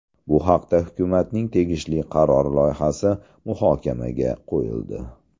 Bu haqda hukumatning tegishli qarori loyihasi muhokamaga qo‘yildi .